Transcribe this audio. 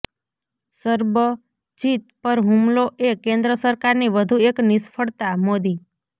સરબજીત પર હુમલો એ કેન્દ્ર સરકારની વધુ એક નિષ્ફળતાઃ મોદી